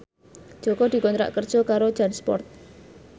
Jaka dikontrak kerja karo Jansport